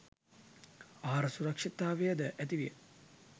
ආහාර සුරක්ෂිතතාවය ද ඇති විය